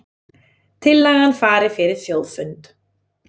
Tillagan fari fyrir þjóðfund